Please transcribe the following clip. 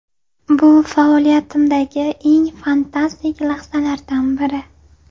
Bu faoliyatimdagi eng fantastik lahzalardan biri.